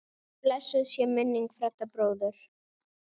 Blessuð sé minning Fredda bróður.